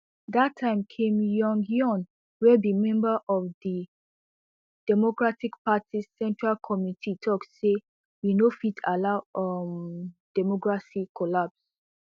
dat time kim yonghyun wey be member of di democratic party central committee tok say we no fit allow um democracy collapse